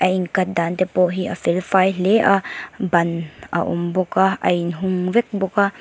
a in cut dan te pawh hi a felfai hle a ban a awm bawk a a in hung vek bawk a.